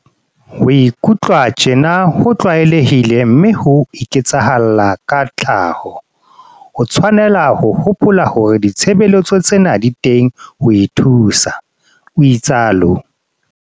Ho ikutlwa tjena ho tlwaelehile mme ho iketsahalla ka tlhaho. O tshwanela ho hopola hore ditshebeletso tsena di teng ho o thusa", o itsalo.